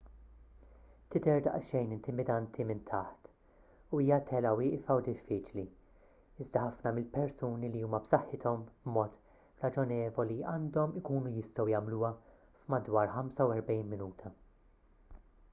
tidher daqsxejn intimidanti minn taħt u hija telgħa wieqfa u diffiċli iżda ħafna mill-persuni li huma b'saħħithom b'mod raġonevoli għandhom ikunu jistgħu jagħmluha f'madwar 45 minuta